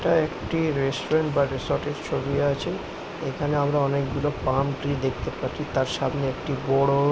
এটা একটি রেস্টুরেন্ট বা রিসোর্ট এর ছবি আছে। এখানে আমরা অনেক গুলো পাম ট্রি দেখতে পাচ্ছি। তার সামনে একটি বড়ো--